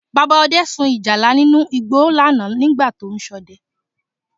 Bàbá Ọdẹ sun ìjálá nínú igbó lánàá nígbà tó ń ṣọdẹ